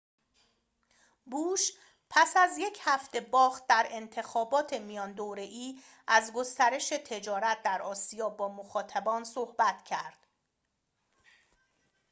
بوش پس از یک هفته باخت در انتخابات میان دوره‌ای از گسترش تجارت در آسیا با مخاطبان صحبت کرد